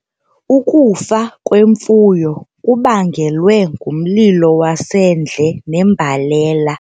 Ukufa kwemfuyo kubangelwe ngumlilo wasendle nembalela.